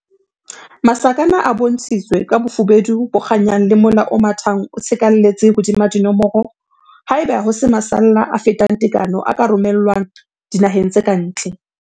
Masakana a bontshitswe ka bofubedu bo kganyang le mola o mathang o tshekalletse hodima dinomoro ha eba ho se masalla a fetang tekano a ka romellwang dinaheng tse ka ntle.